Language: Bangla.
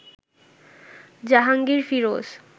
জাহাঙ্গীর ফিরোজ